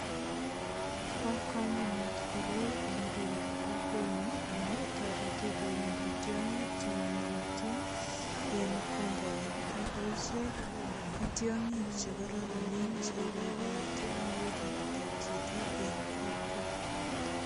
Bo kamanut koroi eng biikab kokwenyun amun toreti koyonda tiongik che mamagotin en compound. Ago ichek ko tiongik chekororonen cheiboite muguleldab chito en kokwo.